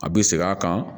A bɛ segin a kan